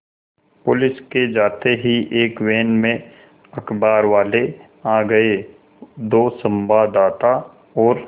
police के जाते ही एक वैन में अखबारवाले आ गए दो संवाददाता और